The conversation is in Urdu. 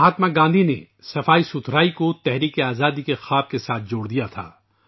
مہاتما گاندھی نے صفائی کو آزادی کے خواب سے جوڑ دیا تھا